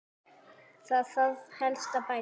Hvað þarf helst að bæta?